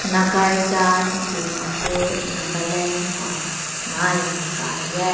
nagarjan dimapur nagaland kaw nai mai kai yeh.